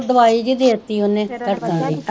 ਓਹ ਦਿਵਾਈ ਜੀ ਦੇਤੀ ਉਨੇ ਧੜਕਨ ਦੀ,